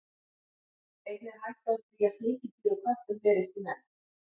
Einnig er hætta á því að sníkjudýr úr köttum berist í menn.